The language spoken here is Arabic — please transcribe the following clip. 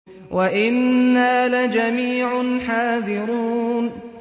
وَإِنَّا لَجَمِيعٌ حَاذِرُونَ